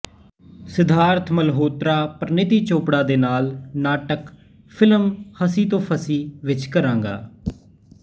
ਸਿੱਧਾਰਥ ਮਲਹੋਤਰਾ ਪਰੀਨੀਤੀ ਚੋਪੜਾ ਦੇ ਨਾਲ ਨਾਟਕ ਫਿਲਮ ਹਸੀ ਤੋ ਫਾਸੀ ਵਿੱਚ ਕਰਾਂਗਾ